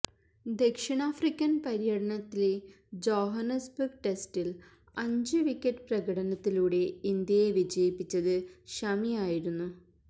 ദക്ഷിണാഫ്രിക്കൻ പര്യടനത്തിലെ ജോഹന്നസ്ബർഗ് ടെസ്റ്റിൽ അഞ്ച് വിക്കറ്റ് പ്രകടനത്തിലൂടെ ഇന്ത്യയെ വിജയിപ്പിച്ചത് ഷമി ആയിരുന്നു